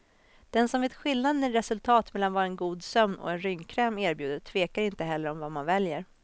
Den som vet skillnaden i resultat mellan vad en god sömn och en rynkkräm erbjuder tvekar inte heller om vad man väljer.